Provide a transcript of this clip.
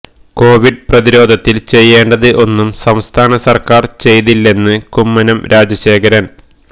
Covid പ്രതിരോധത്തില് ചെയ്യേണ്ടത് ഒന്നും സംസ്ഥാന സര്ക്കാര് ചെയ്തില്ലെന്ന് കുമ്മനം രാജശേഖരന്